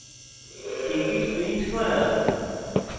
ticket print করা